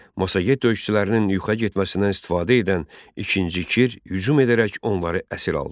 Massaget döyüşçülərinin yuxuya getməsindən istifadə edən İkinci Kir hücum edərək onları əsir aldı.